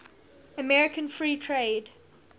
american free trade